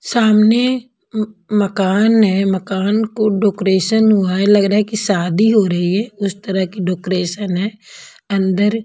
सामने उम मकान है मकान को डेकोरेशन हुआ है लग रहा है कि शादी हो रही है उस तरह की डेकोरेशन है अन्दर--